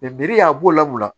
biriyɔn a b'o lamɔ